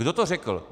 Kdo to řekl?